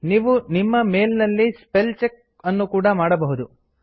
ನೀವು ನಿಮ್ಮ ಮೇಲ್ ನಲ್ಲಿ ಸ್ಪೆಲ್ ಚೆಕ್ ಅನ್ನು ಕೂಡ ಮಾಡಬಹುದು